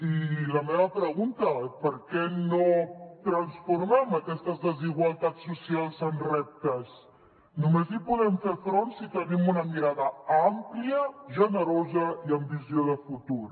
i la meva pregunta per què no transformem aquestes desigualtats socials en reptes només hi podem fer front si tenim una mirada àmplia generosa i amb visió de futur